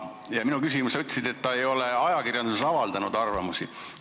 Minu küsimusele vastates sa ütlesid, et ta ei ole ajakirjanduses selle kohta arvamusi jaganud.